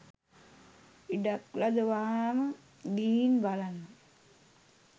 ඉඩක් ලද වහාම ගිහින් බලන්න